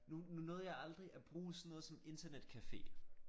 Nu nu nåede jeg aldrig at bruge sådan noget som internetcafé